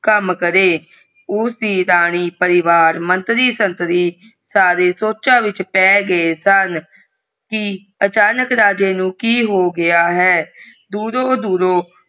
ਕਾਮ ਕਰੇ ਉਸ ਦੀ ਰਾਣੀ ਪਰਿਵਾਰ ਮੰਤ੍ਰੀ ਸੰਤਰੀ ਸਾਰੇ ਸੋਚਾਂ ਵਿਚ ਪੈ ਗਏ ਸਨ ਕਿ ਅਚਾਨਕ ਰਾਜੇ ਨੂੰ ਕਿ ਹੋ ਗਯਾ ਹੈ ਦੂਰੋਂ ਦੂਰੋਂ।